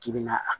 K'i bɛna a